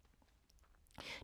DR2